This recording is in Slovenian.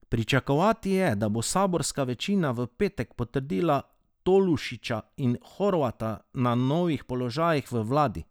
Pričakovati je, da bo saborska večina v petek potrdila Tolušića in Horvata na novih položajih v vladi.